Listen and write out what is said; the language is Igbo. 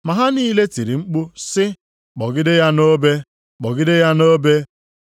Ma ha niile tiri mkpu sị, “Kpọgide ya nʼobe! Kpọgide ya nʼobe!”